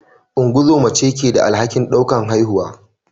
Ungozoma ce ke da alhakin daukar haihuwa.